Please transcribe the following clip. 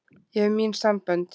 Ég hef mín sambönd.